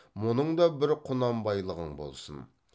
мұның да бір құнанбайлығың болсын